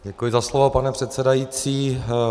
Děkuji za slovo, pane předsedající.